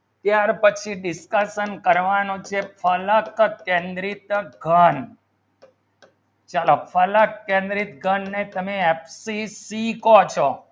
ત્યાર પછી discussion કરવાનું છે ફલક કેન્દ્રિત ઘણ ચલો ફલક કેન્દ્રિત ઘણ ને તમે FCC કહેશો